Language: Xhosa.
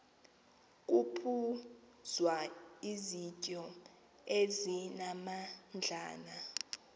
kuphuzwa izityo ezimnandana